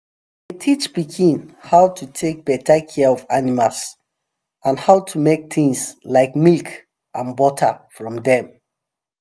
teach pikin how to take better care of animals and how to make things like milk and butter from dem